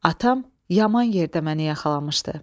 Atam yaman yerdə məni yaxalamışdı.